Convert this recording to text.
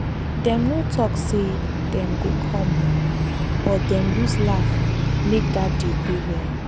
dem no talk say dem go come o but dem use laugh make dat day go well.